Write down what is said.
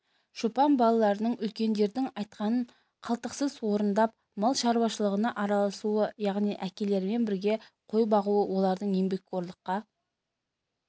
шопан балаларының үлкендердің айтқанын қалтқысыз орындап мал шаруашылығына араласуы яғни әкелерімен бірге қой бағуы олардың еңбекқорлыққа